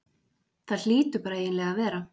Það hlýtur bara eiginlega að vera.